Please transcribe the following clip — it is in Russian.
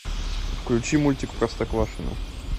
включи мультик простоквашино